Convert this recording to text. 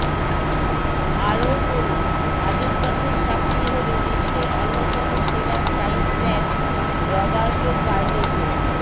আরও পড়ুন হাজতবাসের শাস্তি হল বিশ্বের অন্যতম সেরা সাইট ব্যাক রবার্টো কার্লোসের